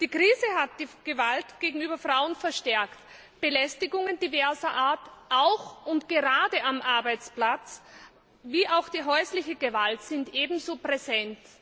Die Krise hat die Gewalt gegenüber Frauen verstärkt. Belästigungen diverser Art auch und gerade am Arbeitsplatz wie auch häusliche Gewalt sind ebenso präsent.